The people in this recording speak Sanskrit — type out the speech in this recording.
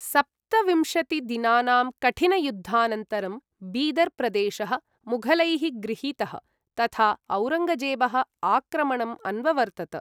सप्तविंशतिदिनानां कठिनयुद्धानन्तरं, बीदर् प्रदेशः मुघलैः गृहीतः, तथा औरङ्गजेबः आक्रमणम् अन्ववर्तत।